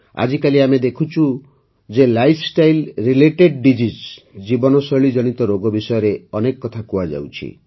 ଆଜିକାଲି ଆମେ ଦେଖୁଛୁ ଯେ ଲାଇଫ୍ଷ୍ଟାଇଲ୍ ରିଲେଟେଡ୍ ଡିଜିଜ୍ ଜୀବନଶୈଳୀ ଜନିତ ରୋଗ ବିଷୟରେ ଅନେକ କଥା କୁହାଯାଉଛି